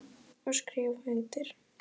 Og skrifa undir.